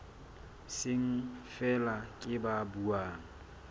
seng feela ke ba buang